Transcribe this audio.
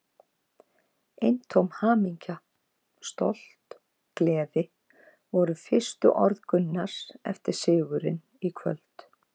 Eintóm hamingja, stolt, gleði voru fyrstu orð Gunnars eftir sigurinn í kvöld.